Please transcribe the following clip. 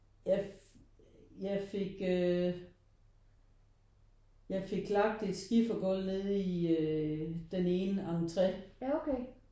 Jeg jeg fik øh jeg fik lagt et skifer gulv nede i øh den ene entré